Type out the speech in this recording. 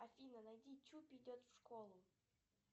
афина найди чуп идет в школу